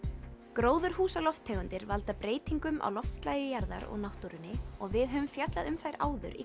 gróðurhúsalofttegundir valda breytingum á loftslagi jarðar og náttúrunni og við höfum fjallað um þær áður í